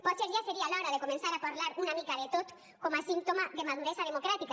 potser ja seria l’hora de començar a parlar una mica de tot com a símptoma de maduresa democràtica